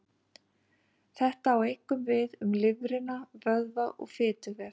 Þetta á einkum við um lifrina, vöðva og fituvef.